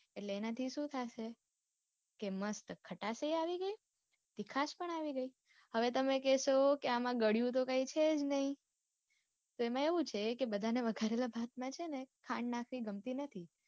એટલે એના થી સુ થાશે કે mast ખટાસ એ આવી ગઈ તીખાશ પણ આવી ગઈ હવે તમે કેસો કે આમ ગડિયુ તો કઈ છે જ નઈ તો એમાં એવું છે બધા ને વઘારેલા ભાત માં છે ને ખાંડ નાખવી ગમતી નઈ.